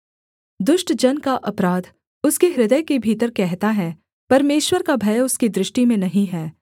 दुष्ट जन का अपराध उसके हृदय के भीतर कहता है परमेश्वर का भय उसकी दृष्टि में नहीं है